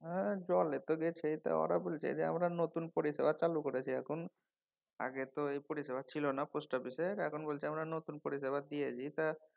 হ্যাঁ জলে তো গেছেই। তো ওরা বলছে ওরা নতুন পরিষেবা চালু করেছে এখন আগে তো এই পরিষেবা ছিল না পোস্ট অফিসের এখন বলছে যে আমরা নতুন পরিষেবা দিয়েছি তা